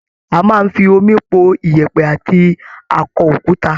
A máa ń fi omi po ìyẹ̀pẹ̀ àti akọ-okuta.